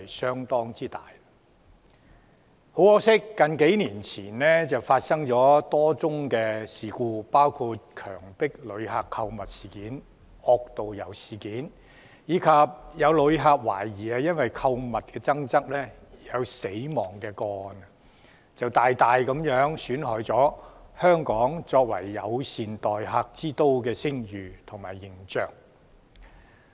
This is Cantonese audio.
很可惜，數年前曾經發生多宗事故，包括強迫旅客購物、惡導遊，以及懷疑有旅客因購物爭執而死亡，大大損害了香港作為友善待客之都的聲譽和形象。